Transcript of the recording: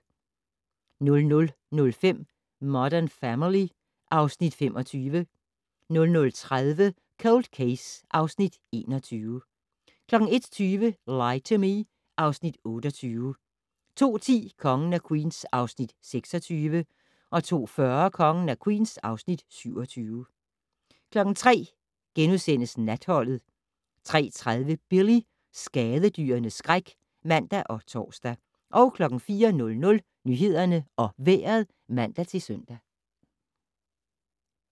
00:05: Modern Family (Afs. 25) 00:30: Cold Case (Afs. 21) 01:20: Lie to Me (Afs. 28) 02:10: Kongen af Queens (Afs. 26) 02:40: Kongen af Queens (Afs. 27) 03:00: Natholdet * 03:30: Billy - skadedyrenes skræk (man og tor) 04:00: Nyhederne og Vejret (man-søn)